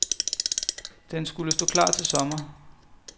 Denskulle stå klar til sommer.